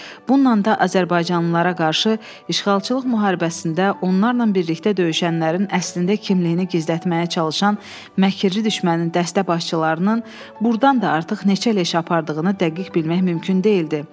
Bununla da azərbaycanlılara qarşı işğalçılıq müharibəsində onlarla birlikdə döyüşənlərin əslində kimliyini gizlətməyə çalışan məkirli düşmənin dəstə başçılarının burdan da artıq neçə leş apardığını dəqiq bilmək mümkün deyildi.